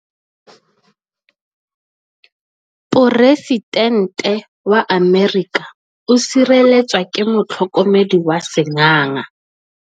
Poresitêntê wa Amerika o sireletswa ke motlhokomedi wa sengaga.